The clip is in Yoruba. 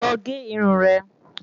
Lọ gé irun rẹ